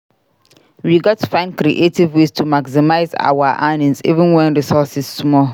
We gats find creative ways to maximize our earnings even wen resources small.